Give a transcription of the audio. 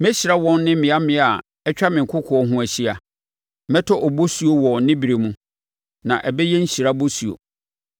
Mɛhyira wɔn ne mmea mmea a atwa me kokoɔ ho ahyia. Mɛtɔ bosuo wɔ ne berɛ mu, na ɛbɛyɛ nhyira bosuo.